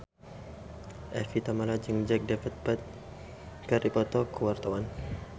Evie Tamala jeung Jack Davenport keur dipoto ku wartawan